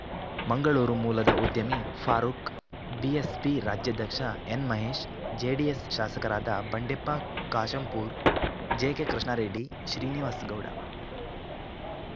ಮಂಗಳೂರು ಮೂಲದ ಉದ್ಯಮಿ ಫಾರೂಕ್‌ ಬಿಎಸ್ಪಿ ರಾಜ್ಯಾಧ್ಯಕ್ಷ ಎನ್‌ಮಹೇಶ್‌ ಜೆಡಿಎಸ್‌ ಶಾಸಕರಾದ ಬಂಡೆಪ್ಪ ಕಾಶಂಪೂರ್‌ ಜೆಕೆಕೃಷ್ಣಾರೆಡ್ಡಿ ಶ್ರೀನಿವಾಸ್‌ಗೌಡ